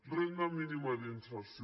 renda mínima d’inserció